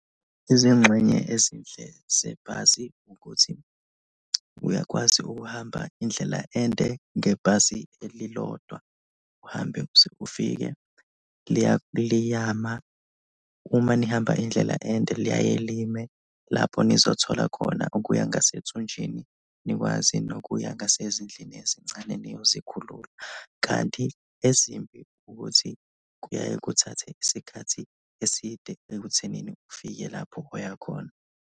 Izingxenye ezinhle zebhasi ukuthi uyakwazi ukuhamba indlela ende ngebhasi elilodwa uhambe uze ufike, liyama, uma nihamba indlela ende liyaye lime lapho nizothola khona okuya ngasethunjini, nikwazi nokuya ngasezindlini ezincane niyozikhulula kanti ezimbi ukuthi kuyaye kuthathe isikhathi eside ekuthenini ufike lapho oyakhona.